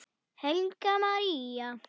Helga María.